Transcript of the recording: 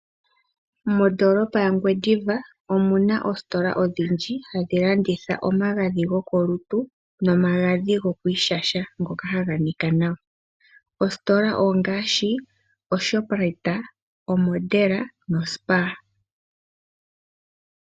Mondoolopa yangwediva omuna oositola odhindji hadhi landitha omagadhi go kolutu nomagadhi go ku ishasha, ngoka ha ga nika nawa. Oositola ongaashi oShoprite, oModel noSpar.